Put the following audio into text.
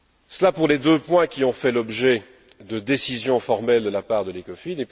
Cela pour les deux points qui ont fait l'objet de décisions formelles de la part de l'Ecofin.